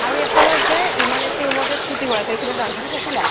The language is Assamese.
আৰু এখনত যে emergency room ত যে স্কূতি ভৰাই থৈছিলে nurse জনে চাইছিলা